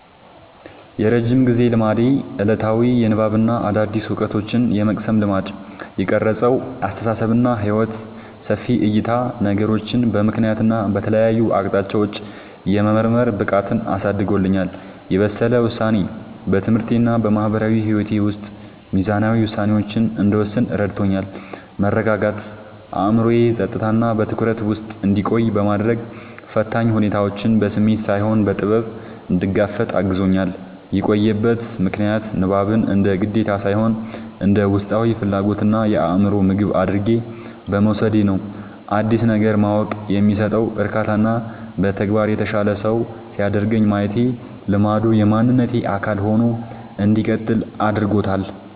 የረጅም ጊዜ ልማዴ፦ ዕለታዊ የንባብና አዳዲስ ዕውቀቶችን የመቅሰም ልማድ። የቀረጸው አስተሳሰብና ሕይወት፦ ሰፊ ዕይታ፦ ነገሮችን በምክንያትና በተለያዩ አቅጣጫዎች የመመርመር ብቃትን አሳድጎልኛል። የበሰለ ውሳኔ፦ በትምህርቴና በማህበራዊ ሕይወቴ ውስጥ ሚዛናዊ ውሳኔዎችን እንድወስን ረድቶኛል። መረጋጋት፦ አእምሮዬ በጸጥታና በትኩረት ውስጥ እንዲቆይ በማድረግ፣ ፈታኝ ሁኔታዎችን በስሜት ሳይሆን በጥበብ እንድጋፈጥ አግዞኛል። የቆየበት ምክንያት፦ ንባብን እንደ ግዴታ ሳይሆን እንደ ውስጣዊ ፍላጎትና የአእምሮ ምግብ አድርጌ በመውሰዴ ነው። አዲስ ነገር ማወቅ የሚሰጠው እርካታና በተግባር የተሻለ ሰው ሲያደርገኝ ማየቴ ልማዱ የማንነቴ አካል ሆኖ እንዲቀጥል አድርጎታል።